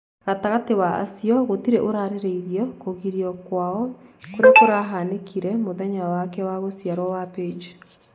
gatagatĩ wa acio gũtirĩ ũraririe kũgĩrio kwao kũrĩa kũrahanĩkire mũthenya wake wa gũciarwo wa Paige.